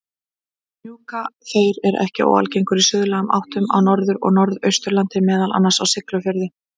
Hnjúkaþeyr er ekki óalgengur í suðlægum áttum á Norður- og Norðausturlandi, meðal annars á Siglufirði.